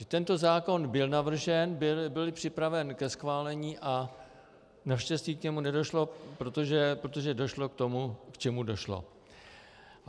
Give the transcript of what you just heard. Že tento zákon byl navržen, byl připraven ke schválení a naštěstí k němu nedošlo, protože došlo k tomu, k čemu došlo.